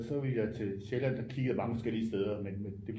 Og så ville jeg til Sjælland der kiggede jeg bare nogle forskellige steder men men det